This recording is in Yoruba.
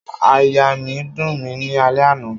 Aiya mi n dun mi ni alẹ ana